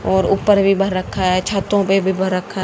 और ऊपर भी भर रखा है छतों पे भी भर रखा--